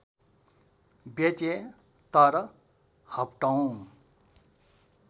बेचे तर हप्तौँ